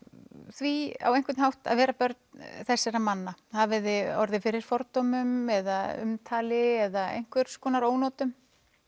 því á einhvern hátt að vera börn þessara manna hafiði orðið fyrir fordómum eða umtali eða einhvers konar ónotum